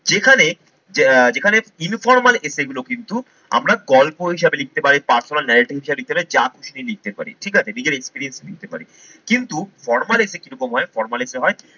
যেখানে আহ যেখানে informal essay গুলো কিন্তু আমরা গল্প হিসাবে লিখতে পারি personal narrating হিসাবে লিখতে পারি, যা খুশি নিয়ে লিখতে পারি ঠিক আছে। নিজের experience লিখতে পারি কিন্তু formal essay কিরকম হয় formal essay হয়